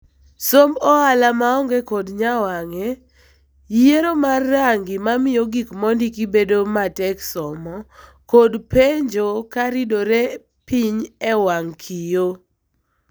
Somb ohala maonge kod nyawang'e, yiero mar rangi mamiyo gik mondiki bedo matek somo kod penjo karidore piny ewang' kiyoo.